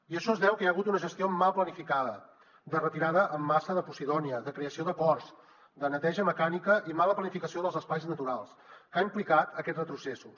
i això es deu a que hi ha hagut una gestió mal planificada de retirada en massa de posidònia de creació de ports de neteja mecànica i mala planificació dels espais naturals que ha implicat aquests retrocessos